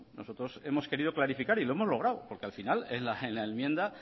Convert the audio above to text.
nosotros hemos querido clarificar y lo hemos logrado porque al final en la enmienda